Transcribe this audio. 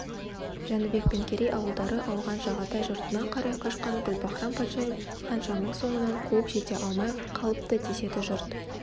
жәнібек пен керей ауылдары ауған жағатай жұртына қарай қашқан гүлбаһрам-патшайым ханшаның соңынан қуып жете алмай қалыпты деседі жұрт